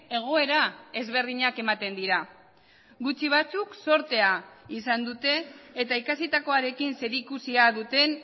egoera ezberdinak ematen dira gutxi batzuk zortea izan dute eta ikasitakoarekin zerikusia duten